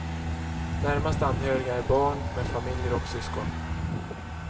Närmast anhöriga är barn med familjer och syskon.